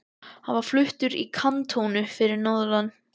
Hann var fluttur í kantónu fyrir norðan.